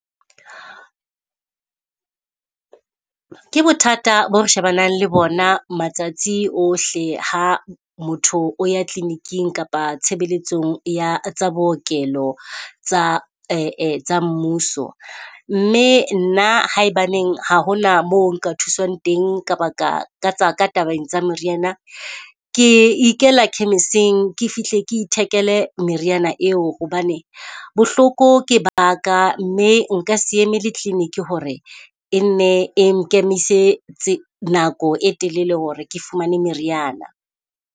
Ke bothata bo re shebanang le bona matsatsi ohle, ha motho o ya clinic-ing kapa tshebeletsong ya tsa bookelo tsa tsa mmuso. Mme nna ha e baneng ha ho na moo nka thuswang teng ka baka ka tsa ka tabeng tsa meriana. Ke ikela khemiseng ke fihle ke ithekele meriana eo, hobane bohloko ke ba ka mme nka se emele clinic ho re e nne e nkemisitse nako e telele hore ke fumane meriana.